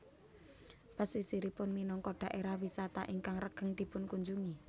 Pesisiripun minangka daerah wisata ingkang regeng dipunkunjungi